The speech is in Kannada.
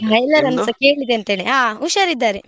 ಕೇಳಿದೆ ಅಂತ ಹೇಳಿ. ಹಾ ಹುಷಾರ್ ಇದ್ದಾರೆ.